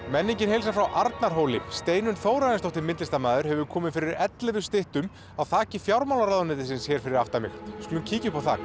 menningin heilsar frá Arnarhóli Steinunn Þórarinsdóttir myndlistarmaður hefur komið fyrir ellefu styttum á þaki fjármálaráðuneytisins hér fyrir aftan mig við skulum kíkja upp á þak